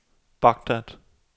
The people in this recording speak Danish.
Baghdad